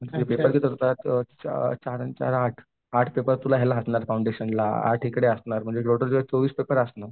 चार चार आणि चार आठ, आठ पेपर तुला असणार फाउंडेशनला आठ म्हणजे टोटल तुझे चोवीस पेपर असणार.